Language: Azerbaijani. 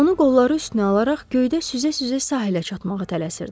Onu qolları üstünə alaraq göydə süzə-süzə sahilə çatmağa tələsirdi.